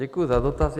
Děkuji za dotaz.